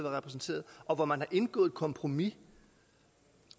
repræsenteret og hvor man har indgået et kompromis